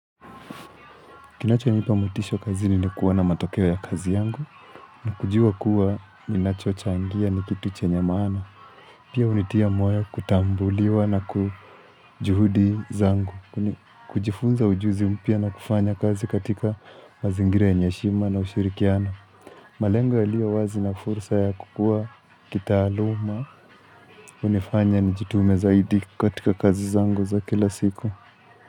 Kinacho nipa motisha kazini ni kuona matokeo ya kazi yangu. Na kujua kuwa ninachochangia ni kitu chenye maana. Pia hunitia moyo kutambuliwa na kujuhudi zangu. Kujifunza ujuzi mpya na kufanya kazi katika mazingira yenye heshima na ushirikiano. Malengo yaliyo wazi na fursa ya kukua kitaaluma. Hunifanya nijitume zaidi katika kazi zangu za kila siku.